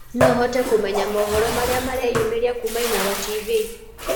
no hote kumenya mohoro marĩa mareyũmiria kũma inooro tv